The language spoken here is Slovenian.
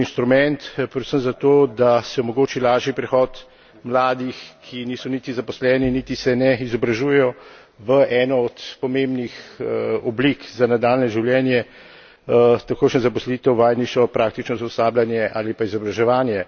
pomemben instrument predvsem zato, da se omogoči lažji prehod mladih, ki niso niti zaposleni, niti se ne izobražujejo, v eno od pomembnih oblik za nadaljnje življenje takojšnja zaposlitev, vajeništvo, praktično usposabljanje ali pa izobraževanje.